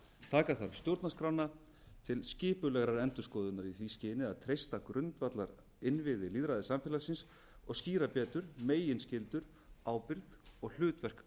taka þarf stjórnarskrána til skipulegrar endurskoðunar í því skyni að treysta grundvallarinnviði lýðræðissamfélagsins og skýra betur meginskyldur ábyrgð og hlutverk